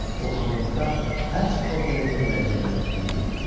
O Honkonqda həbs orderinin gələcəyinə ümid eləyirdi.